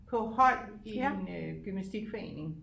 På hold i en øh gymnastikforening